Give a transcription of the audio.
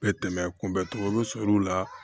Bɛ tɛmɛ kunbɛncogo sɔrɔ u la